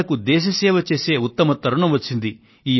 మనకు దేశ సేవ చేసే ఉత్తమ తరుణం వచ్చింది